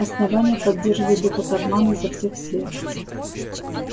основание поддерживает этот обман изо всех сил